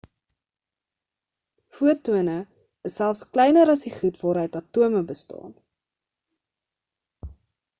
fotone is selfs kleiner as die goed waaruit atome bestaan